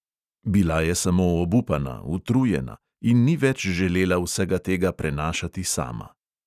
Bila je samo obupana, utrujena in ni več želela vsega tega prenašati sama.